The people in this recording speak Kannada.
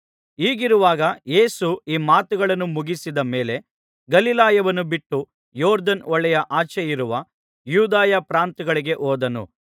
ಹೀಗಿರುವಾಗ ಯೇಸು ಈ ಮಾತುಗಳನ್ನು ಮುಗಿಸಿದ ಮೇಲೆ ಗಲಿಲಾಯವನ್ನು ಬಿಟ್ಟು ಯೊರ್ದನ್ ಹೊಳೆಯ ಆಚೆಯಿರುವ ಯೂದಾಯ ಪ್ರಾಂತ್ಯಗಳಿಗೆ ಹೋದನು